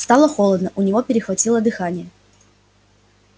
стало холодно у него перехватило дыхание